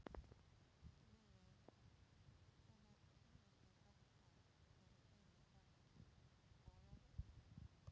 Lillý: Hvenær kynnirðu þetta fyrir þínu fólki, Ólafur?